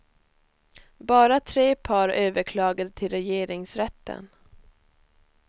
Bara tre par överklagade till regeringsrätten.